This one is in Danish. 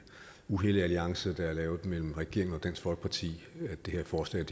uhellige alliance der er lavet mellem regeringen og dansk folkeparti at det her forslag